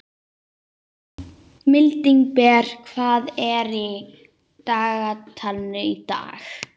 Mildinberg, hvað er í dagatalinu í dag?